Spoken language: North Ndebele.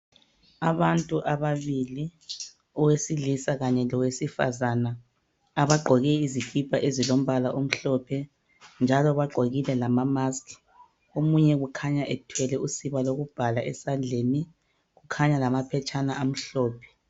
Abantu ababili. Owesilisa kanye lowesifazana. Abagqoke izikipa ezilombala omhlophe. Njalo bagqokile lamamask. Omunye kukhanya ethwele usiba lokubhala esandleni. Kukhanya lamaphetshana amhlophe.